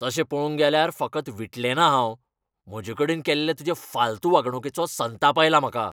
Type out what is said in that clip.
तशें पळोवंक गेल्यार, फकत विटलेंना हांव. म्हजेकडेन केल्ले तुजे फालतू वागणुकेचो संताप आयला म्हाका.